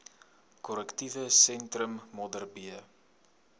korrektiewe sentrum modderbee